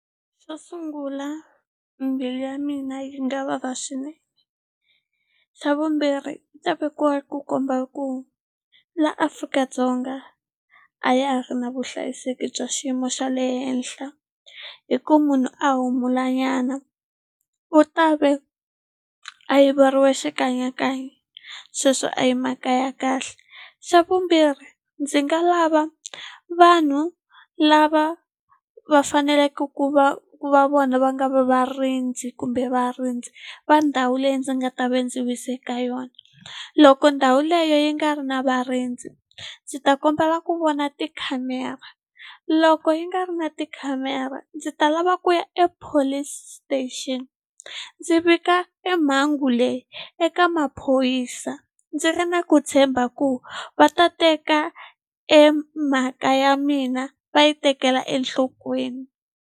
Xo sungula mbilu ya mina yi nga vava swinene xa vumbirhi yi ta vekiwa ku komba ku la Afrika-Dzonga a ya a ri na vuhlayiseki bya xiyimo xa le henhla hi ku munhu a humula nyana ku ta ve a yiveriwe xikanyakanya sweswo a hi mhaka ya kahle xa vumbirhi ndzi nga lava vanhu lava va faneleke ku va ku va vona va nga va varindzi kumbe varindzi va ndhawu leyi ndzi nga ta va ndzi wise ka yona loko ndhawu leyi yi nga ri na varindzi ndzi ta kombela ku vona tikhamera loko yi nga ri na tikhamera ndzi ta lava ku ya e police station ndzi vika e mhangu leyi eka maphorisa ndzi ri na ku tshemba ku va ta teka e mhaka ya mina va yi tekela enhlokweni.